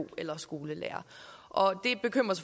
eller skolelærer og